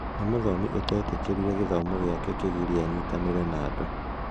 Nĩ mũthomi ũtetĩkĩrire gĩthomo gĩake kĩgirie anyitanĩre na andũ.